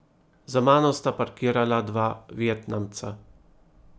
Za mano sta parkirala dva vietnamca.